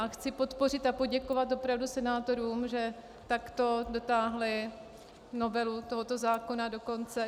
A chci podpořit a poděkovat opravdu senátorům, že takto dotáhli novelu tohoto zákona do konce.